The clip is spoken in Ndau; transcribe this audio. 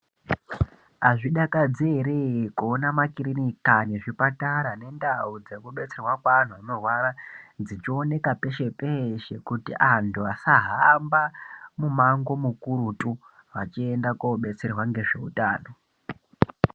Azvidakadzi eree kuona makhiriniki aya nezvipatara zvichioneka peshe peeshe kuitira kuti vanthu vasahamba mumango mukurutu vachienda koodetserwa ngezveutano.